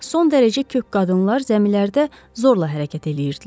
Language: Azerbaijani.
Son dərəcə kök qadınlar zəmilərdə zorla hərəkət eləyirdilər.